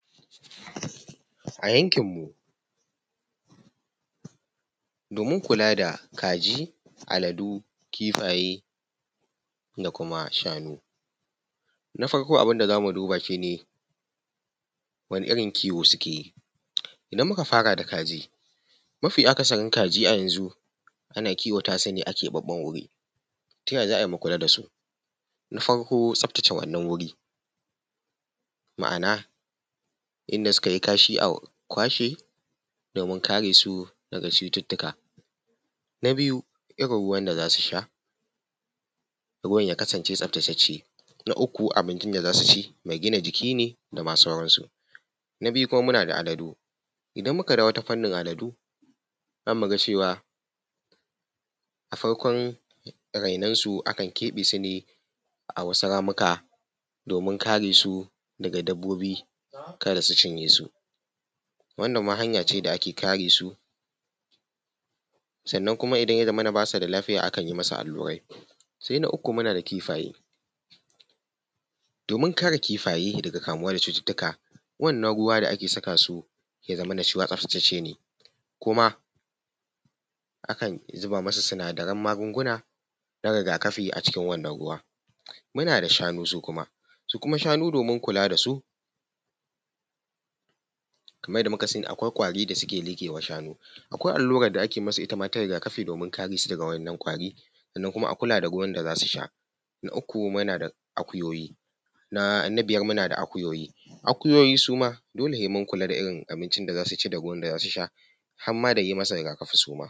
A yankin mu domin kula da kaji, aladu, kifaye da kuma shanu. Na farko abin da za mu duba shine wane irin kiwo suke yi. Idan muka fara da kaji, mafi akasarin kaji a yanzu ana kiwata su ne a keɓaɓɓen wuri. Ta yaya za a yi mu kula da su? Na farko tsabtace wannan wuri, ma’ana inda suka yi kasha a kwashe domin kare su daga cututtuka. Na biyu irin ruwan da za su sha, ruwan ya kasance tsabtatacce. Na uku abincin da za su ci mai gina jiki ne da ma sauran su. Na biyu kuma muna da aladu, idan muka dawo ta fannin aladu za mu ga cewa a farkon su akan keɓe su ne a wasu ramuka domin kare su daga dabbobi kada su cinye su. Wannan ma hanya ce da ake kare su. Sannan kuma idan ya zamana idan basu da lafiya akan yi masu allurai. Sai na uku muna da kifaye domin kare kifaye daga kamuwa da cututtuka, wannan ruwa da ake saka su ya zamana shima tsabtatacce ne, kumaakan zuba masu sinadaran magunguna na rigakafi a cikin wannan ruwa. Muna da shanu su kuma: Su kuma shanu domin kula da su kamar yadda muka sani akwai ƙwari da suke liƙe ma shanu, akwai allura da ake yi masu itama ta rigakafi domin kare su daga waɗannan ƙwari sannan kuma a kula da ruwan da za su sha. Na uku muna da akuyoyi na biyar muna da akuyoyi, akuyoyi suma dole sai mun kula da irin abincin da za su ci da ruwan da za su sha harma da ruwan da za su sha.